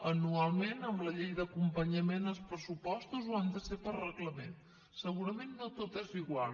anualment amb la llei d’acompanyament als pressupostos o han de ser per reglament segurament no tot és igual